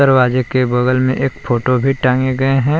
दरवाजे के बगल में एक फोटो भी टांगे गए हैं।